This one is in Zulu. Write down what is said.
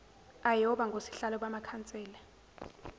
ayoba ngosihlalo bamakhansela